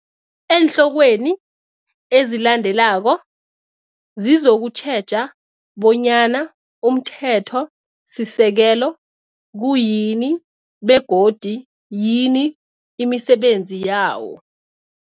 Eenhlokweni ezilandelako zizokutjheja bonyana umthetho sisekelo kuyini begodu yini imisebenzi yawo.